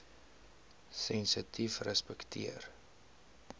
sensitiefrespekteer